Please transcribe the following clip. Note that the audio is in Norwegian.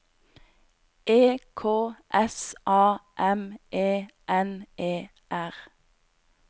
E K S A M E N E R